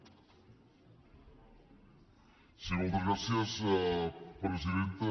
sí moltes gràcies presidenta